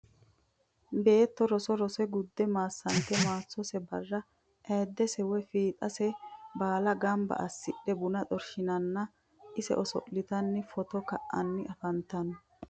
Beetto roso rose gudde maasante maasose barra ayiidesse woyi fiixxase baalla gannibba asidhe bunna xorishshinna nna ise oso'littanni footto kayiinsanni afanttanno